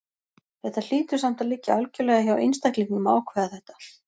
Þetta hlýtur samt að liggja algjörlega hjá einstaklingnum að ákveða þetta.